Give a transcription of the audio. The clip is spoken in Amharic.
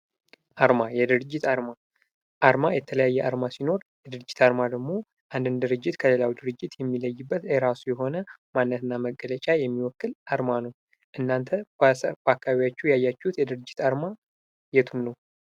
አርማ ። የድርጅት አርማ ፡ አርማ የተለያየ አርማ ሲኖር የድርጅት አርማ ደግሞ አንድን ድርጅት ከሌላው ድርጅት የሚለይበት የራሱ የሆነ ማንነት እና መገለጫ የሚወክል አርማ ነው ። እናንተ በአካባቢያችሁ ያያችሁት የድርጅት አርማ የቱን ነው?